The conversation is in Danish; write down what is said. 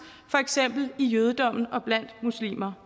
for eksempel i jødedommen og blandt muslimer